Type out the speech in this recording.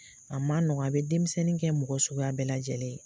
A ma nɔgɔn a be denmisɛnnin kɛ mɔgɔ suguya bɛɛ lajɛlen ye.